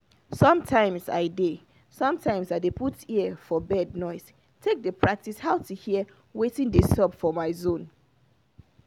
sometimes i dey sometimes i dey put ear for bird noise take dey practice how to hear watin dey sup for my zone